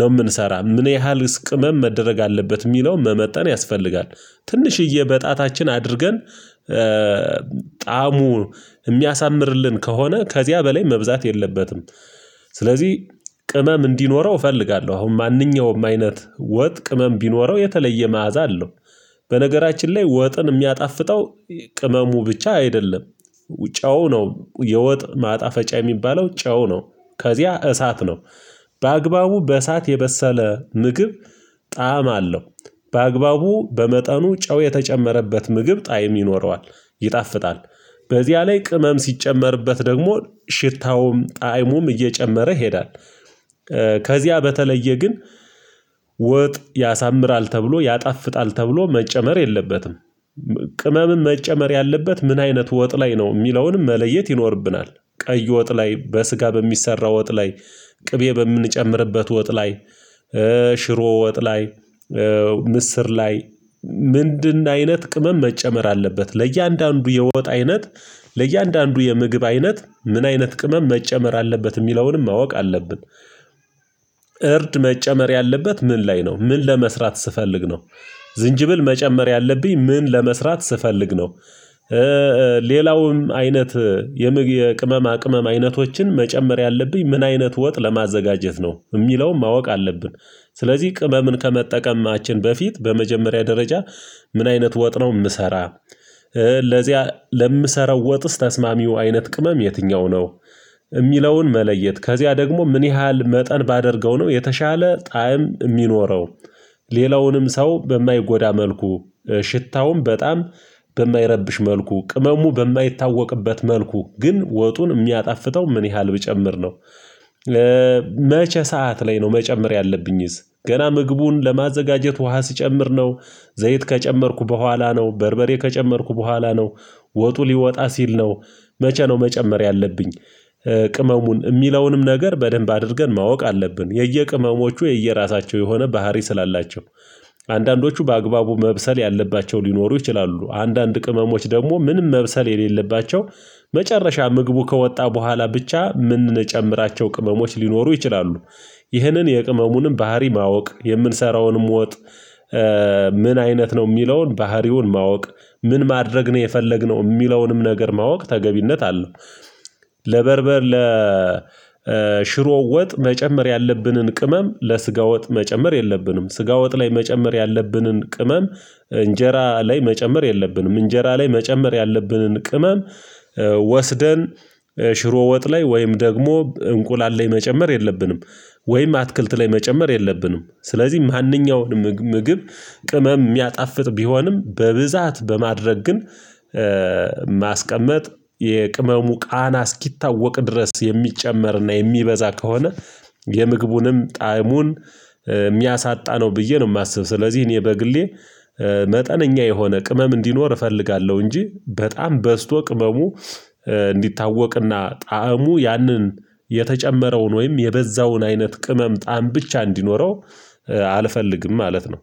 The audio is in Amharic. ነው የምንሰራ ምን ያህል ቅመም መደረግ አለበት የሚለውን መመጠን ያስፈልጋል። ትንሽዬ በጣታችን አድርገን ጣዕሙ የሚያሳምርልን ከሆነ ከዚያ በላይ መብዛት የለበትም፤ ስለዚህ ቅመም እንዲኖረው እፈልጋለሁ አሁን ማንኛውም አይነት ወጥ ቅመም ቢኖረው የተለየ መዓዛ አለው። በነገራችን ላይ ወጥን የሚያጣፍጠው ቅመሙ ብቻ አይደለም። ጨው ነው የወጥ ማጣፈጫ የሚባለው ጨው ነው። ከዚያ እሳት ነው። በአግባቡ በእሳት የበሰለ ምግብ ጣዕም አለው። በአግባቡ በመጠኑ ጨው የተጨመረበት ምግብ ጣዕም ይኖረዋል፤ ይጣፍጣል። በዚያ ላይ ቅመም ሲጨመርበት ደግሞ ሽታውም ጣእሙም እየጨመረ ይሄዳል፤ ከዚያ በተለየ ግን ወጥ ያሳምራል ተብሎ ያጣፍጣል ተብሎ መጨመር የለበትም። ቅመምም መጨመር ያለበት ምን አይነት ወጥ ላይ ነው የሚለውንም መለየት ይኖርብናል። ቀይ ወጥ ላይ፣ በስጋ በሚሰራ ወጥ ላይ፣ ቅቤ በምንጨምርበት ወጥ ላይ፣ ሽሮ ወጥ ላይ፣ ምስር ላይ ምንድን አይነት ቅመም መጨመር አለበት ለእያንዳንዱ የወጥ አይነት ለእያንዳንዱ የምግብ አይነት ምን አይነት ቅመም መጨመር አለበት የሚለውንም ማወቅ አለብን። እርድ መጨመር ያለበት ምን ላይ ነው ምን ለመስራት ስፈልግ ነው? ዝንጅብል መጨመር ያለብኝ ምን ለመስራት ስፈልግ ነው? ሌላውም አይነት የምግብ የቅመማ ቅመም አይነቶችን መጨመር ያለብኝ ምን አይነት ወጥ ለማዘጋጀት ነው የሚለውን ማወቅ አለብን። ስለዚህ ቅመምን ከመጠቀማችን በፊት በመጀመሪያ ደረጃ ምን አይነት ወጥ ነው የምሰራ? ለዚያ ለምሰራው ወጥስ ተስማሚው አይነት ቅመም የትኛው ነው? የሚለውን መለየት ከዚያ ደግሞ ምን ያህል መጠን ባደርገው ነው የተሻለ ጣዕም የሚኖረው? ሌላውንም ሰው በማይጎዳ መልኩ ሽታውም በጣም በማይረብሽ መልኩ ቅመሙ በማይታወቅበት መልኩ ግን ወጡን የሚያጣፍተው ምን ያህል ብጨምር ነው? መቼ ሰዓት ላይ ነው መጨመር ያለብኝስ? ገና ምግቡን ለማዘጋጀት ውሃ ስጨምር ነው ዘይት ከጨመርኩ በኋላ ነው በርበሬ ከጨመርኩ በኋላ ነው ወጡ ሊወጣ ሲል ነው። መቼ ነው መጨመር ያለብኝ? ቅመሙን የሚለውንም ነገር በደንብ አድርገን ማወቅ አለብን። የየቅመሞቹ የየራሳቸው የሆነ ባህሪ ስላላቸው፤ አንዳንዶቹ በአግባቡ መብሰል ያለባቸው ሊኖሩ ይችላሉ አንዳንድ ቅመሞች ደግሞ ምንም መብሰል የሌለባቸው መጨረሻ ምግቡ ከወጣ በኋላ ብቻ የምንጨምራቸው ቅመሞች ሊኖሩ ይችላሉ፤ ይህንን የቅመሙንም ባህሪ ማወቅ የምንሰራውንም ወጥ ምን አይነት ነው የሚለውን ባህሪውን ማወቅ ምን ማድረግ ነው የፈለግነው የሚለውንም ነገር ማወቅ ተገቢነት አለው፤ ለበርበር ለሽሮወጥ ወጥ መጨመር ያለብንን ቅመም ለስጋ ወጥ መጨመር የለብንም ስጋ ወጥ ላይ መጨመር ያለብንን ቅመም። እንጀራ ላይ መጨመር የለብንም እንጀራ ላይ መጨመር ያለብንን ቅመም። ወስደን ሽሮ ወጥ ላይ ወይም ደግሞ እንቁላል ላይ መጨመር የለብንም። ወይም አትክልት ላይ መጨመር የለብንም ስለዚህ ማንኛውንም ምግብ ቅመም የሚያጣፍጥ ቢሆንም በብዛት በማድረግ ግን። ማስቀመጥ የቅመሙ ቃና እስኪታወቅ ድረስ የሚጨመርና የሚበዛ ከሆነ የምግቡንም ጣዕሙን የሚያሳጣ ነው ብዬ ነው የማስብ። ስለዚህ እኔ በግሌ መጠነኛ የሆነ ቅመም እንዲኖር እፈልጋለሁ። እንጂ በጣም በዝቶ ቅመሙ እንዲታወቅ ጣዕሙ ያንን የተጨመረውን ወይም የበዛውን አይነት ቅመም ጣዕም ብቻ እንዲኖረው አልፈልግም ማለት ነው